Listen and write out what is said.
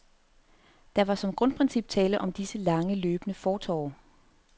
Der var som grundprincip tale om disse lange løbende fortorve.